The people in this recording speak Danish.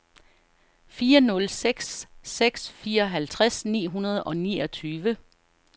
fire nul seks seks fireoghalvtreds ni hundrede og niogtyve